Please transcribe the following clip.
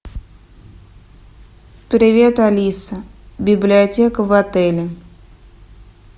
привет алиса библиотека в отеле